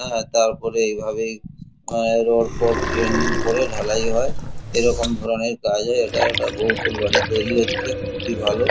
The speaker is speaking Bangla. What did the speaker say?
হা তারপরে এই ভাবেই রড ফড ড্রেনিং করে ঢালাই হয় এরকম ধরনের জাজা এটা একটা বহুতল বাড়ি তৈরি হচ্ছে খুবই ভালো।